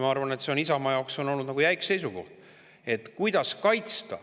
Ma arvan, et see on Isamaa jaoks olnud jäik seisukoht.